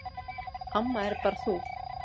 Amma er bara þú.